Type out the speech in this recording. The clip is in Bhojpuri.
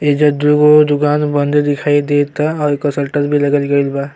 एहिजा दुगो दुकान बंद दिखाई देता और एकर सल्टर भी लगल गइल बा।